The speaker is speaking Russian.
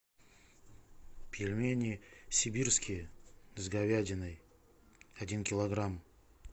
пельмени сибирские с говядиной один килограмм